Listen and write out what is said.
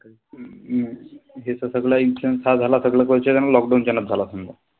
हम्म हे सगळं lockdown च्या न च झाला समजा.